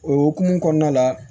O hokumu kɔnɔna la